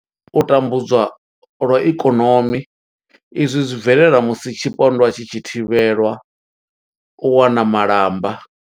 U tambudzwa lwa ikonomi izwi zwi bvelela musi tshipondwa tshi tshi thivhelwa u wana malamba.